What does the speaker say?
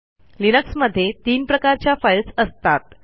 Linux मध्ये तीन प्रकारच्या फाईल्स असतात